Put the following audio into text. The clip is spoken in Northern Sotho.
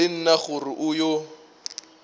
le nna gore o yo